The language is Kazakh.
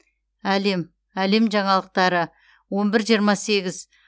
әлем әлем жаңалықтары он бір жиырма сегіз